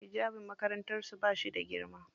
Hijabin makarantar su bashi da girma.